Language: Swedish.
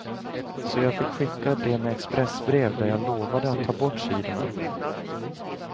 Så jag fick skicka det med expressbrev där jag lovade att ta bort sidorna.